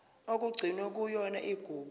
okugcinwe kuyona igugu